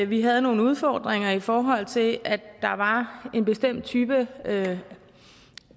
vi havde nogle udfordringer i forhold til at der var en bestemt type